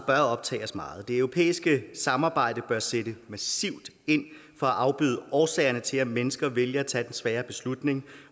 optage os meget det europæiske samarbejde bør sætte massivt ind for at afbøde årsagerne til at mennesker vælger at tage den svære beslutning